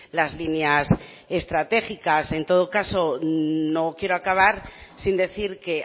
las líneas estratégicas en todo caso no quiero acabar que sin decir que